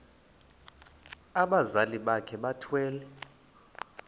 abazali bakhe bethwele